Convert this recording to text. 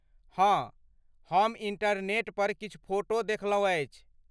हँ, हम इंटरनेट पर किछु फोटो देखलहुँ अछि।